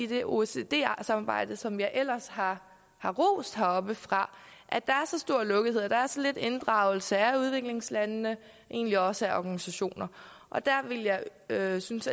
det oecd samarbejde som jeg ellers har har rost heroppefra er så stor lukkethed er så lidt inddragelse af udviklingslandene og egentlig også af organisationer og der ville jeg synes